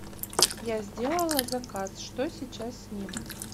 я сделала заказ что сейчас с ним